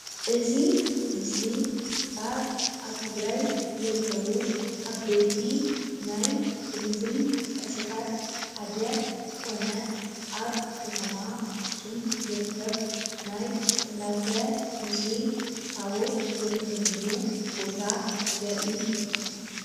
እዚ ምስለ ኣብ ኣብ ትግራይ ዝርከቡ ዓበይቲ ናይ ቱሪዝም ቅርስታት ሓደ ዝኮነ ኣብ ከተማ ኣክሱም ዝርከብ ናይ ፅላተ ሙሴ ታቦት ዝርከበሉ ቦታ ዘርኢ እዩ፡፡